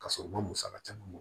Ka sɔrɔ u ma musaka caman bɔ